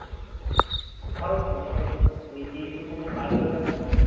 খড়গপুর খড়গপুর ওই যে স্টেশন টা পার করে ফেল্লো